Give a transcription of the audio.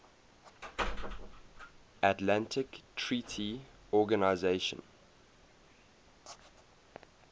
atlantic treaty organisation